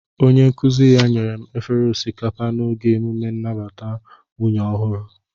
Onye nkuzi ya nyere m efere osikapa n'oge emume nnabata nwunye ọhụrụ